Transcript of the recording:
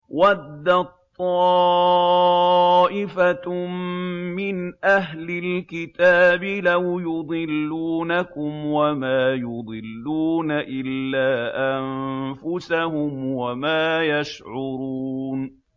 وَدَّت طَّائِفَةٌ مِّنْ أَهْلِ الْكِتَابِ لَوْ يُضِلُّونَكُمْ وَمَا يُضِلُّونَ إِلَّا أَنفُسَهُمْ وَمَا يَشْعُرُونَ